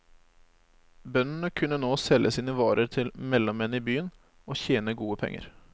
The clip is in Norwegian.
Bøndene kunne nå selge sine varer til mellommenn i byen og tjene gode penger.